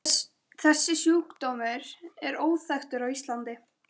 Þessi sjúkdómur er óþekktur á Íslandi.